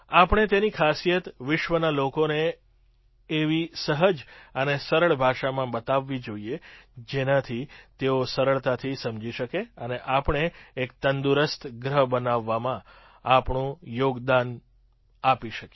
આપણે તેની ખાસિયત વિશ્વના લોકોને એવી સહજ અને સરળ ભાષામાં બતાવવી જોઈએ જેનાતી તેઓ સરળતાથી સમજી શકે અને આપણે એક તંદુરસ્ત ગ્રહ બનાવવામાં આપણું યોગદાન આપી શકીએ